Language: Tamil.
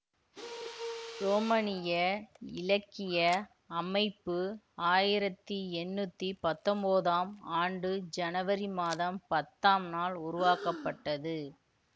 ரோமனிய இலக்கிய அமைப்பு ஆயிரத்தி எண்ணூத்தி பத்தொன்பதாம் ஆண்டு ஜனவரி மாதம் பத்தாம் நாள் உருவாக்கப்பட்டது